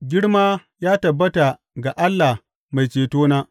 Girma ya tabbata ga Allah Mai cetona!